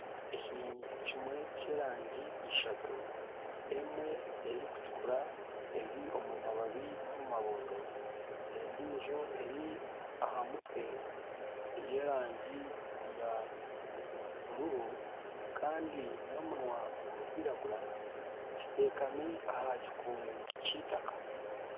Ekinyonyi kimwe ky'erangi ishatu, emwe erikutukura eri omu mababi n'omu mabondo. Endiijo eri aha mutwe y'erangi ya bururu kandi n'omunwa gurikwiragura kiteekami aha kikungu ky'eitaka.